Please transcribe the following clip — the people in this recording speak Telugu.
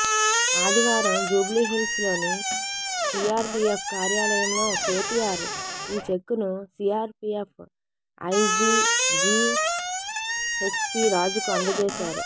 ఆదివారం జూబ్లీహిల్స్లోని సీఆర్పీఎఫ్ కార్యాలయంలో కేటీఆర్ ఈ చెక్కును సీఆర్పీఎఫ్ ఐజీ జీహెచ్పీ రాజుకు అందజేశారు